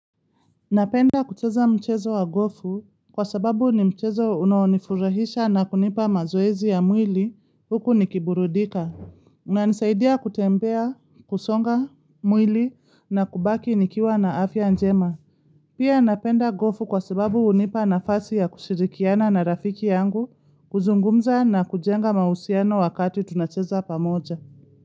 Napenda kucheza mchezo wa gofu kwa sababu ni mchezo unaonifurahisha na kunipa mazoezi ya mwili huku nikiburudika. Unanisaidia kutembea, kusonga, mwili na kubaki nikiwa na afya njema. Pia napenda gofu kwa sababu unipa nafasi ya kushirikiana na rafiki yangu, kuzungumza na kujenga mahusiano wakati tunacheza pamoja.